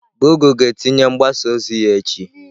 gụgle ga-etinye mgbasa ozi ya echi.